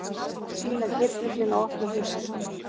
Sýna geirfuglinn á opnu húsi